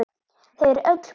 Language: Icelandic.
Þau eru öll bús.